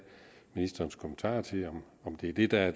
ministerens kommentar til om det er det der er